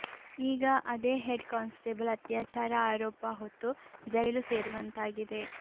ಈಗ ಅದೇ head constable ಅತ್ಯಾಚಾರ ಆರೋಪ ಹೊತ್ತು ಜೈಲು ಸೇರುವಂತಾಗಿದೆ